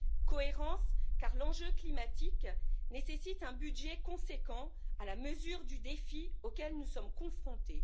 Cohérence, car l'enjeu climatique nécessite un budget conséquent, à la mesure du défi auquel nous sommes confrontés.